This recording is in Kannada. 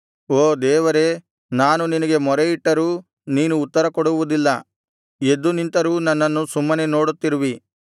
ಓ ದೇವರೇ ನಾನು ನಿನಗೆ ಮೊರೆಯಿಟ್ಟರೂ ನೀನು ಉತ್ತರಕೊಡುವುದಿಲ್ಲ ಎದ್ದು ನಿಂತರೂ ನನ್ನನ್ನು ಸುಮ್ಮನೆ ನೋಡುತ್ತಿರುವಿ